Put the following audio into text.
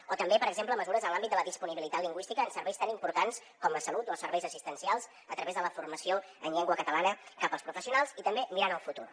o també per exemple mesures en l’àmbit de la disponibilitat lingüística en serveis tan importants com la salut o els serveis assistencials a través de la formació en llengua catalana cap als professionals i també mirant el futur